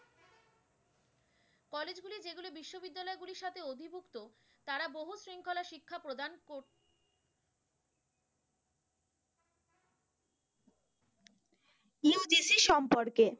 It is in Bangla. UGC সম্পর্কে।